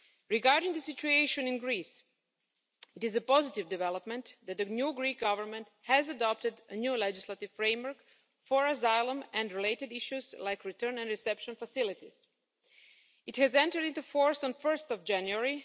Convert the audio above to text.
Regarding the situation in Greece, it is a positive development that the new Greek Government has adopted a new legislative framework for asylum and related issues like return and reception facilities. It entered into force on 1 January